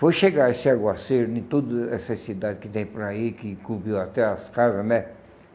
Foi chegar esse aguaceiro em tudo essa cidade que tem por aí, que cobriu até as casas, né?